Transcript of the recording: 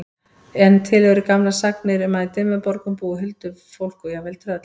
En til eru gamlar sagnir um að í Dimmuborgum búi huldufólk og jafnvel tröll.